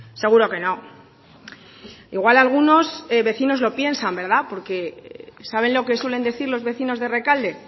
seguro que no igual algunos vecinos lo piensan porque saben lo que suelen decir los vecinos de rekalde